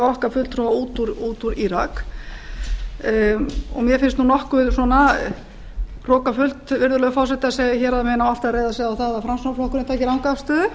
okkar fulltrúa út úr írak mér finnst nokkuð svona hrokafullt virðulegi forseti að segja að hér megi alltaf reiða sig á það að framsóknarflokkurinn taki ranga afstöðu